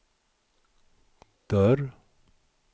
dörr